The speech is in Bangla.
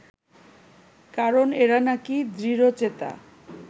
কারণ এরা নাকি দৃঢ়চেতা